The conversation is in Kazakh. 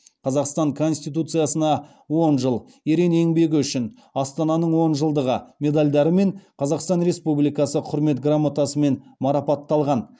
қазақстан конституциясына он жыл ерен еңбегі үшін астананың он жылдығы медальдарымен қазақстан республикасы құрмет грамотасымен марапатталған